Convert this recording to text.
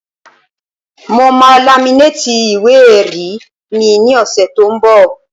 Mo máa laminéètì ìwé-ẹ̀rí mi ní ọ̀sẹ̀ tó n bọ̀